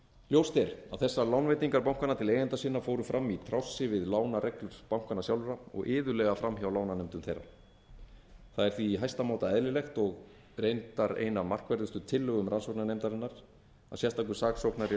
ljóst er að þessar lánveitingar bankanna til eigenda sinna fóru fram í trássi við lánareglur bankanna sjálfra og iðulega framhjá lánanefndum þeirra það er því í hæsta máta eðlilegt og reyndar ein af markverðustu tillögum rannsóknarnefndarinnar að sérstakur saksóknari